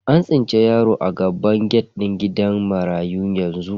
An tsinci yaro a gaban gate din gidan marayu yanzu.